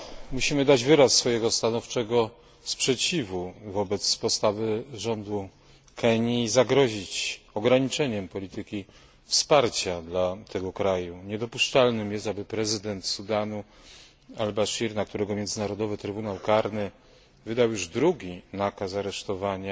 Musimy dać wyraz stanowczego sprzeciwu wobec postawy rządu Kenii i zagrozić ograniczeniem polityki wsparcia dla tego kraju. Niedopuszczalne jest, aby prezydent Sudanu al Bashir, na którego Międzynarodowy Trybunał Karny wydał już drugi nakaz aresztowania,